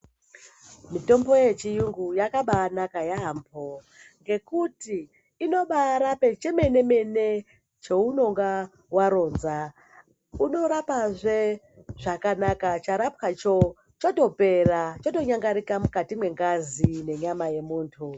Mitombo yechiyungu yakabaanaka yaambho ngekuti inobaarape chemene mene cheunonga waronza unorapazve zvakabaka charapwacho chotopera chotonyangarika mukati mwengazi nenyama yemunthu.